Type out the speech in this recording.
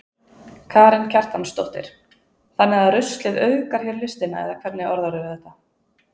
Karen Kjartansdóttir: Þannig að ruslið auðgar hér listina eða hvernig orðarðu þetta?